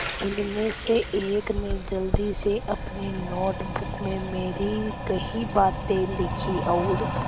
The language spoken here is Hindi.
उनमें से एक ने जल्दी से अपनी नोट बुक में मेरी कही बातें लिखीं और